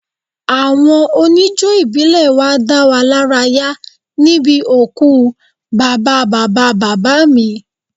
Àwọn oníjó ìbílẹ̀ wá dá wa lára yá níbi òkú bàbá bàbá bàbá mi